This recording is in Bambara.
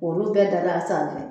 Olu bɛɛ dalen a sanfɛ